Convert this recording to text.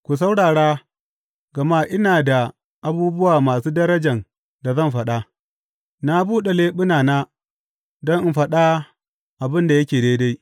Ku saurara, gama ina da abubuwa masu darajan da zan faɗa; na buɗe leɓunana don in faɗa abin da yake daidai.